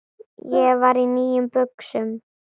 Ég var í nýjum buxum.